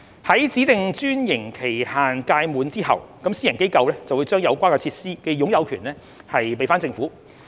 在指定專營期限屆滿後，私營機構會將有關設施的擁有權移交給政府。